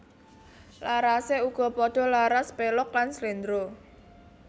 Larasé uga padha laras pélog lan sléndro